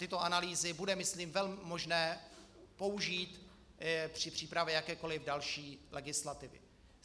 Tyto analýzy bude myslím velmi možné použít při přípravě jakékoli další legislativy.